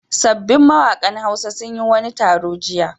Sabbin mawaƙan Hausa sun yi wani taro jiya.